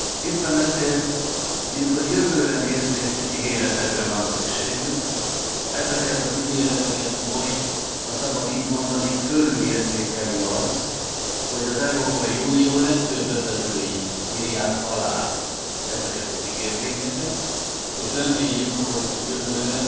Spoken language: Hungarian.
Éppen ezért, minthogy a jövőre nézvést is ígéretekre van szükségünk, ezeket az ígérteket most ha szabad így mondani fölülértékeli az, hogy az Európai Unió legfőbb vezetői írják alá ezeket az ígérvényeket, és reméljük, hogy jövőre